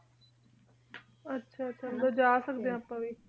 ਆਹ ਆਹ ਆਹ ਮਤਲਬ ਜਾ ਸਕਦੇ ਆਂ ਆਪਾਂ ਵੀ ਹਾਨਾ